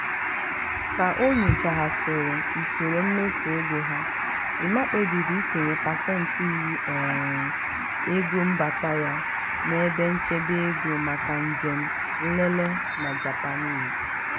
ka o nyochaghasịrị usoro mmefu ego ha emma kpebiri ikenye pasentị iri um ego mbata ya n'ebe nchebe ego maka njem nlele na japanese.